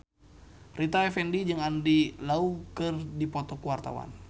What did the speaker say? Rita Effendy jeung Andy Lau keur dipoto ku wartawan